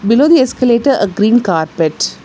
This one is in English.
Below the escalator a green carpet.